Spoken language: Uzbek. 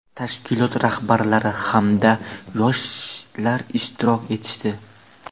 tashkilot rahbarlari hamda yoshlar ishtirok etishdi.